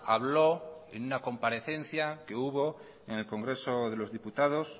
habló en una comparecencia que hubo en el congreso de los diputados